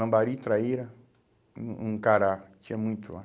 Lambari, traíra, um um cará, tinha muito lá.